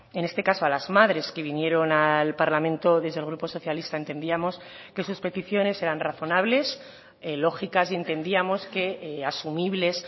en este caso a las madres que vinieron al parlamento desde el grupo socialista entendíamos que sus peticiones eran razonables lógicas y entendíamos que asumibles